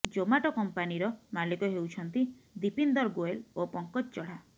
Zomato କମ୍ପାନୀର ମାଲିକ ହେଉଛନ୍ତି ଦିପିନ୍ଦର ଗୋୟଲ ଓ ପଙ୍କଜ ଚଢ଼ା